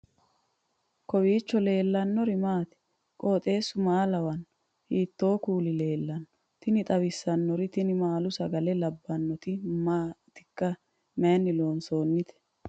kowiicho leellannori maati ? qooxeessu maa lawaanno ? hiitoo kuuli leellanno ? tini xawissannori tini maalu sagale labbannoti maatikka mayinni loonsoonnite